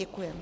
Děkuji.